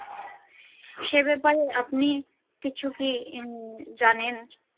সে ব্যাপারে আপনি কিছু কি জানেন।